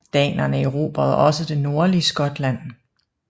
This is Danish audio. Danerne erobrede også det nordlige Skotland